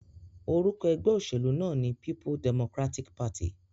Orúkọ egbé òsèlú náà ní People Democratic Party